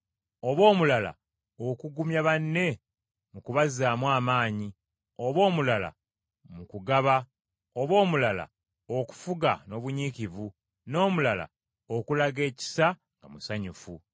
oba omulala okugumya banne mu kubazzaamu amaanyi, oba omulala mu kugaba, oba omulala, okufuga n’obunyiikivu, n’omulala okulaga ekisa nga musanyufu.